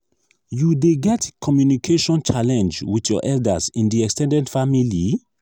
you dey get communication challenge with your elders in di ex ten ded family?